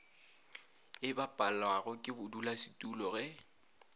e bapalwago ke bodulasetulo ge